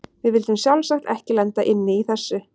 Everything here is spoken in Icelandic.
Við vildum sjálfsagt ekki lenda inni í þessu!